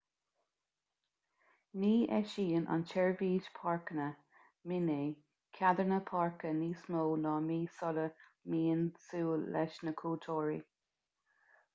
ní eisíonn an tseirbhís páirceanna minae ceadanna páirce níos mó ná mí sula mbíonn súil leis na cuairteoirí